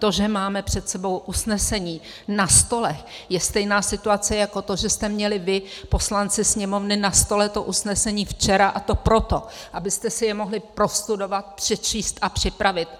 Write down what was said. To, že máme před sebou usnesení na stole, je stejná situace jako to, že jste měli vy, poslanci Sněmovny, na stole to usnesení včera, a to proto, abyste si jej mohli prostudovat, přečíst a připravit.